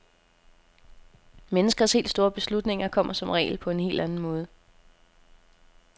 Menneskers helt store beslutninger kommer som regel på en helt anden måde.